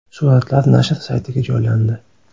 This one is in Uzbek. Suratlar nashr saytiga joylandi .